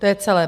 To je celé.